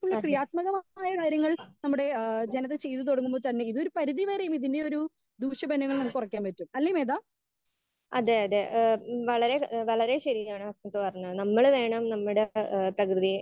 Speaker 1 അതെ അതെ അതെ ഏഹ് വളരെ വളരെ ശരിയാണ് ഏഹ് ഹസനത് പറഞ്ഞത്. നമ്മള് വേണം നമ്മുടെ ഏഹ് പ്രകൃതിയെ